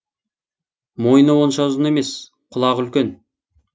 мойны онша ұзын емес құлағы үлкен